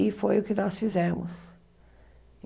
E foi o que nós fizemos.